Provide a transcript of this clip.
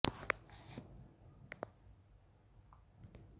एक fit blouse स्तनों को कवर करने के लिए पहना जाता है